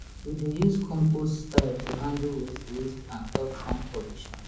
we dey use compost style to handle waste waste and stop farm pollution